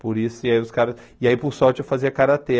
Por isso, e aí os caras... E aí, por sorte, eu fazia karatê.